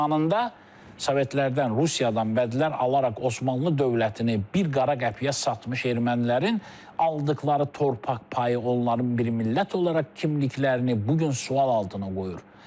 Zamanında sovetlərdən, Rusiyadan bədlər alaraq Osmanlı dövlətini bir qara qəpiyə satmış ermənilərin aldıqları torpaq payı onların bir millət olaraq kimliklərini bu gün sual altına qoyur.